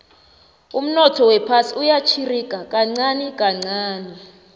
umnotho wephasi uyarhirika kancani kancani